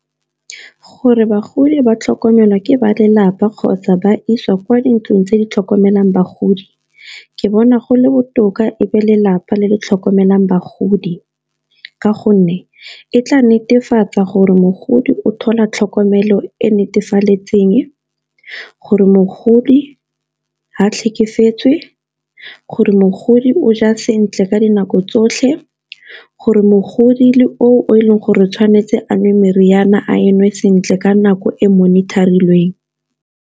Gore bagodi ba tlhokomelwa ke ba lelapa kgotsa ba is'wa kwa dintlong tse di tlhokomelang bagodi, ke bona go le botoka e be lelapa le le tlhokomelang bagodi ka gonne e tla netefatsa gore mogodi o thola tlhokomelo e netefaletseng, gore mogodi ga , gore mogodi o ja sentle ka dinako tsotlhe, gore mogodi le o e leng gore tshwanetse a meriana a nwe sentle ka nako e monitor-ilweng.